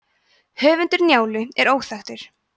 höfundur njálu er óþekktur